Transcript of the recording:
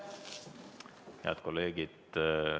Head kolleegid!